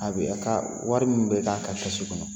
A bɛ, a ka, wari min bɛ k'a ka kɛsu kɔnɔ.